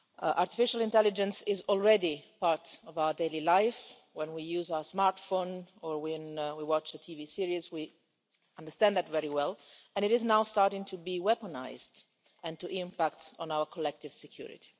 Artificial intelligence is already part of our daily life when we use our smartphone or when we watch a TV series, we understand that very well and it is now starting to be weaponised and to impact on our collective security.